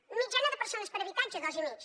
mitjana de persones per habitatge dos i mig